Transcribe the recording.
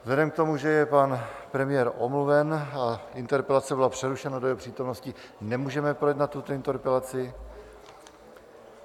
Vzhledem k tomu, že je pan premiér omluven a interpelace byla přerušena do jeho přítomnosti, nemůžeme projednat tuto interpelaci.